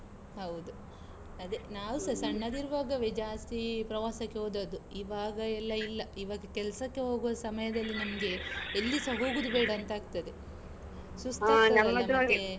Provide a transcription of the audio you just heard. ಹೌದು, ಅದೇ. ನಾವ್ ಸ ಸಣ್ಣದಿರುವಾಗೆ ಜ್ಯಾಸ್ತಿ ಪ್ರವಾಸಕ್ಕೆ ಹೋದದ್ದು. ಇವಾಗ ಎಲ್ಲಾ ಇಲ್ಲಾ. ಇವಾಗ ಕೆಲ್ಸಕ್ಕೆ ಹೋಗುವ ಸಮ್ಯದಲ್ಲಿ ನಮ್ಗೆ ಎಲ್ಲಿಸಾ ಹೋಗುದು ಬೇಡಾಂತ ಆಗ್ತದೆ,